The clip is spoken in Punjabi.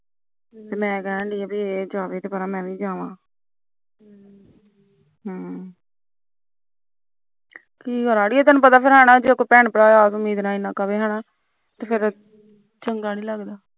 ਮੈਂ ਕਹਿੰਦੀ ਇਹ ਜਾਵੇ ਤਾਂ ਮੈ ਵੀ ਜਾੲਾ ਹਮ ਕੀ ਕਰਨਾ ਜੇ ਕੋਈ ਭੈਣ ਭਰਾ ਇੰਨੀ ਉਮੀਦ ਨਾਲ ਕਹਿਵੇ ਤਾਂ ਚੰਗਾ ਨੀ ਲਗਦਾ ਹਮ